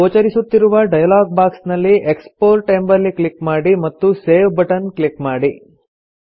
ಗೋಚರಿಸುತ್ತಿರುವ dialogue box ನಲ್ಲಿ export ಎಂಬಲ್ಲಿ click ಮಾಡಿ ಮತ್ತು ಸೇವ್ ಬಟನ್ ಕ್ಲಿಕ್ ಮಾಡಿ